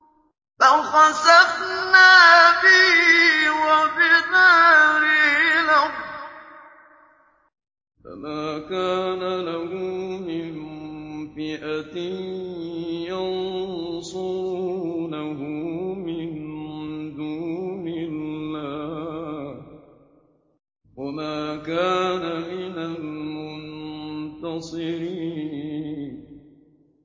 فَخَسَفْنَا بِهِ وَبِدَارِهِ الْأَرْضَ فَمَا كَانَ لَهُ مِن فِئَةٍ يَنصُرُونَهُ مِن دُونِ اللَّهِ وَمَا كَانَ مِنَ الْمُنتَصِرِينَ